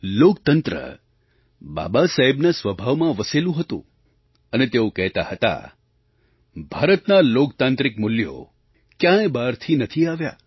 લોકતંત્ર બાબાસાહેબના સ્વભાવમાં વસેલું હતું અને તેઓ કહેતા હતા ભારતનાં લોકતાંત્રિક મૂલ્યો ક્યાંય બહારથી નથી આવ્યાં